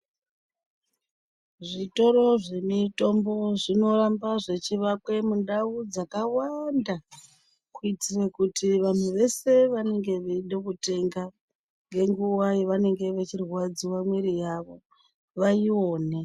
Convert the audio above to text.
Zvitoro zvemitombo zvinoramba zvechivakwe mundau dzakawanda kuitire kuti vanhu vese vanenge veido kutenga ngenguwa yevanenge vechirwadziwa mwiiri yavo vaione.